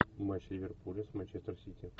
матч ливерпуля с манчестер сити